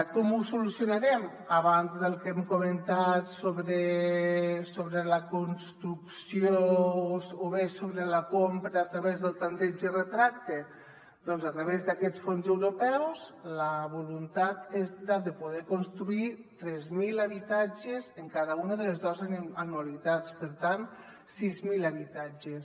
com ho solucionarem a banda del que hem comentat sobre la construcció o bé sobre la compra a través del tanteig i retracte doncs a través d’aquests fons europeus la voluntat és la de poder construir tres mil habitatges amb cada una de les dues anualitats per tant sis mil habitatges